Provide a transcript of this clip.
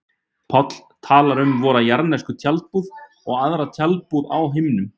Páll talar um vora jarðnesku tjaldbúð og aðra tjaldbúð á himnum.